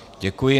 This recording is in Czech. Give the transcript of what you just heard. Děkuji.